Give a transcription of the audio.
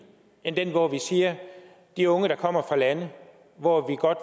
end den hvor vi siger at de unge der kommer fra lande hvor vi godt